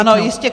Ano, jistě.